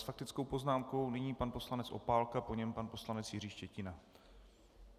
S faktickou poznámkou nyní pan poslanec Opálka, po něm pan poslanec Jiří Štětina.